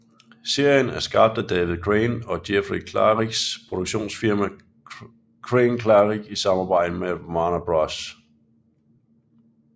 Serien er skabt af David Crane og Jeffrey Klariks produktionsfirma CraneKlarik i samarbejde med Warner Bros